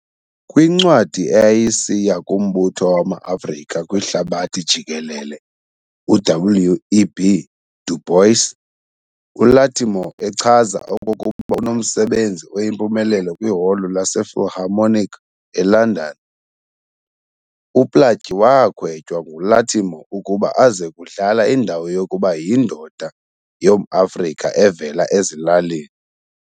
Kwincwadi eyayisiya kumbutho wamaAfrika kwihlabathi jikelele uW. E. B. Du Bois, uLattimore echaza okokuba unommsebenzi oyimpumelelo kwiholo lasePhilharmonic elondon. UPlaatje waakhwetywa nguLattimore ukuba azekudlala indawo yokuba yindoda yomAfrika evela ezilalini.